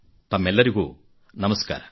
ತಮ್ಮೆಲ್ಲರಿಗೂ ನಮಸ್ಕಾರ